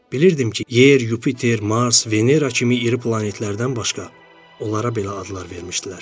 Bilirdim ki, Yer, Yupiter, Mars, Venera kimi iri planetlərdən başqa, onlara belə adlar vermişdilər.